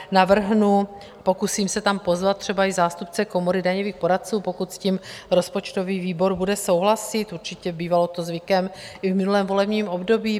Navrhnu, pokusím se tam pozvat třeba i zástupce Komory daňových poradců, pokud s tím rozpočtový výbor bude souhlasit, určitě, bývalo to zvykem i v minulém volebním období.